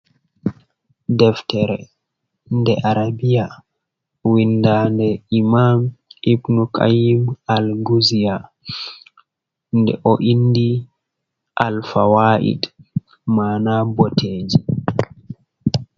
Deftere nde arabiya. Winda nde 'Imam ibnu Kayyim Al-nguzna, nde o indi 'Alfawaait'. Ma'ana. boteeji.